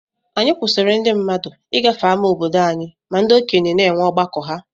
Anyi kwụsiri ndi mmadụ igafe ama obodo anyi ma ndi okenye na enwe ọgbakọ ha.